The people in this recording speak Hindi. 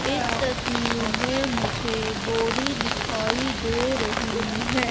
इस तस्वीर मे मुझे बोरी दिखाई दे रही है।